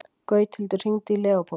Gauthildur, hringdu í Leópold.